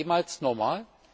War es jemals normal?